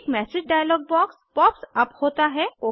एक message dialog box pops up होता है